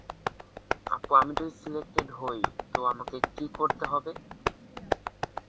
তারপর আমি যদি selected হয়ই, তারপর আমাকে কি করতে হবে?